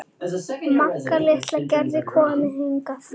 Magga litla getur komið hingað.